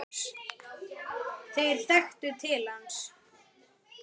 Þeir þekktu til hans.